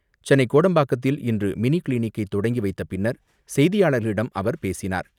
சென்னை கோடம்பாக்கத்தில் இன்று மினி கிளினிக்கை தொடங்கி வைத்த பின்னர் செய்தியாளர்களிடம் அவர் பேசினார்.